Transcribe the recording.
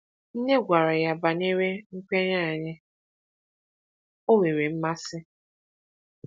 Nne gwara ya banyere nkwenye anyị, ọ nwere mmasị.